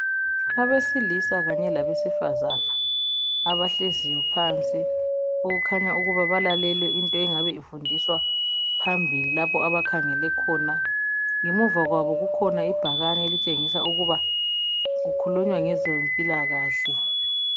Abesilisa kanye labesifazana, abahleziyo phansi okukhanya balalele into engabe ifundiswa phambili lapho abakhangele khona. Ngemuva kwabo kukhona ibhakane elitshengisa ukuba kukhulunywa ngezempilakahle.